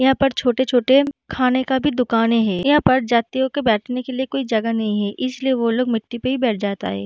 यहाँ पर छोटे-छोटे खाने का भी दुकाने है यहां पर जात्रियों के बैठने के लिए कोई जगह नहीं है इसलिए वो लोग मिट्टी पे ही बैठ जाता है।